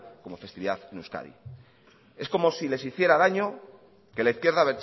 de festividad en euskadi es como si les hiciera daño que la izquierda